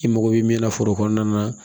I mago bɛ min na foro kɔnɔna na